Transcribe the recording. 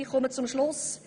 Ich komme zum Schluss: